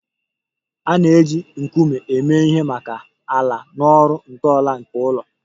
A na-eji nkume eme ihe maka ala na ọrụ ntọala nke ụlọ